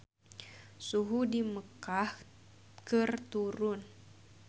Suhu di Mekkah keur turun